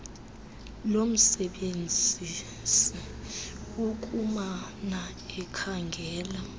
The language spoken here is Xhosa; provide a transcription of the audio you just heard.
lomsebenzisi ukumana ekhangela